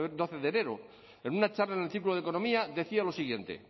doce de enero en una charla en el ciclo de economía decía lo siguiente